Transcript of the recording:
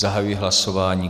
Zahajuji hlasování.